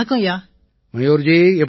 மயூர் ஜி எப்படி இருக்கீங்க